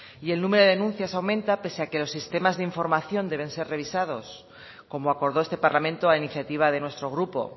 y el número de denuncias aumentan pese a que los sistemas de información deben ser revisados como acordó este parlamento a iniciativa de nuestro grupo